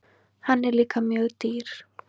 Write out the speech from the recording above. Hann er líka mjög dýr.